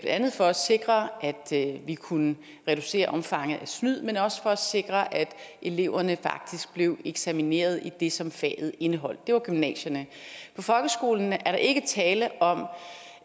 andet for at sikre at vi kunne reducere omfanget af snyd men også for at sikre at eleverne faktisk blev eksamineret i det som faget indeholdt det var gymnasierne for folkeskolen er der ikke tale om